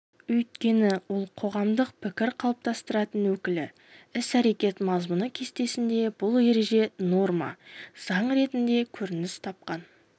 өйткені ол қоғамдық пікір қалыптастыратын өкілі іс-әрекет мазмұны кестесінде бұл ереже норма заң ретінде көрініс тапқан